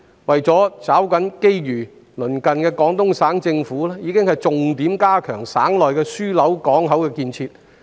為了抓緊機遇，鄰近的廣東省政府已經重點加強省內的樞紐港口的建設。